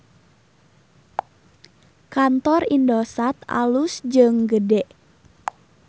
Kantor Indosat alus jeung gede